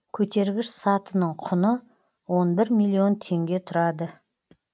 көтергіш сатының құны он бір миллион теңге тұрады